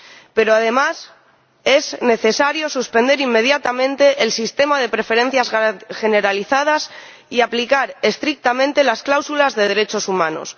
Pero, además, es necesario suspender inmediatamente el sistema de preferencias generalizadas y aplicar estrictamente las cláusulas de derechos humanos.